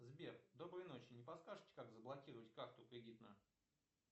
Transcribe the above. сбер доброй ночи не подскажете как заблокировать карту кредитную